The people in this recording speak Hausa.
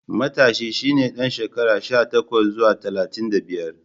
Matashi shi ne ɗan shekara sha takwas zuwa talatin da biyar.